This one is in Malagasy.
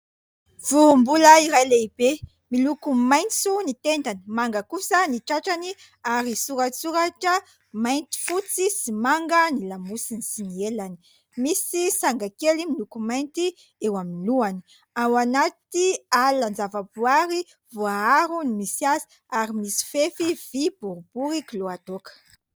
Vorombola iray lehibe miloko maitso ny tendany, manga kosa ny tratrany ary soratsoratra mainty, fotsy sy manga ny lamosiny sy ny elany. Misy sanga kely miloko mainty eo amin'ny lohany. Ao anaty alanan-javaboary voaaro ny misy azy ary misy fefy vy boribory kiloadoaka.